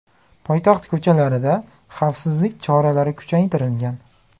Poytaxt ko‘chalarida xavfsizlik choralari kuchaytirilgan.